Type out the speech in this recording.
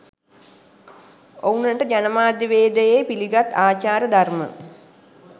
ඔවුනට ජනමාධ්‍යවේදයේ පිළිගත් ආචාර ධර්ම